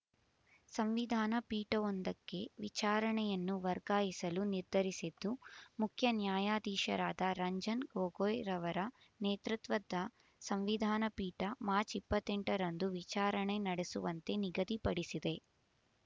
ಸಂವಿಧಾನ ಪೀಠವೊಂದಕ್ಕೆ ವಿಚಾರಣೆಯನ್ನು ವರ್ಗಾಯಿಸಲು ನಿರ್ಧರಿಸಿದ್ದು ಮುಖ್ಯ ನ್ಯಾಯಾಧೀಶರಾದ ರಂಜನ್ ಗೊಗೊಯ್ ಅವರ ನೇತೃತ್ವದ ಸಂವಿಧಾನ ಪೀಠ ಮಾರ್ಚ್ ಇಪ್ಪತ್ತೆಂಟರಂದು ವಿಚಾರಣೆ ನಡೆಸುವಂತೆ ನಿಗದಿ ಪಡಿಸಿದೆ